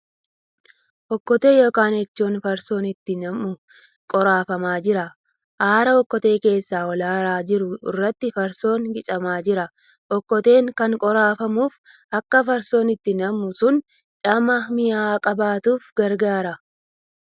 Okkotee yookan eechoon farsoon itti nammu qoraafamaa jira. Aara okkotee keessaa ol aaraa jiru irratti farsoon qicamaa jira. Okkoteen kan qoraafamuuf akka farsoon itti nammu sun dhama mi'aa qabaatuuf gargaara.